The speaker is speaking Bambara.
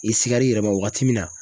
I sigar'i yɛrɛ ma wagati min na